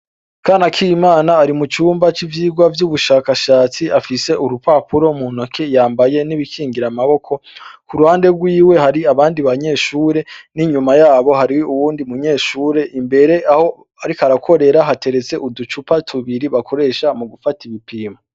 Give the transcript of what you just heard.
Kanakimana, ari mucumba c' ivyigwa vy' ubushakashatsi, afis' urupapuro muntoki yambaye n' ibikingir' amaboko kuruhande rwiwe, har'abandi banyeshure, inyuma yabo har' uwundi munyeshure, imber' aharik' arakorera haterets' uducupa tubiri bakoresha mugufat' ibipimo.